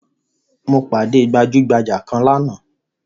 Mo pàdé gbajugbaja kan lánàá